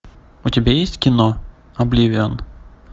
у тебя есть кино обливион